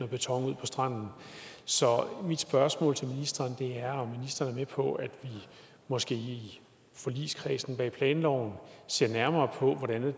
beton ud på stranden så mit spørgsmål til ministeren er om ministeren er med på at vi måske i forligskredsen bag planloven ser nærmere på hvordan det